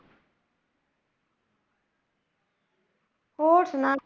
ਹੋਰ ਸੁਣਾ,